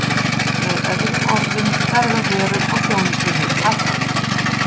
Með öðrum orðum, verð á vörum og þjónustu hefur hækkað.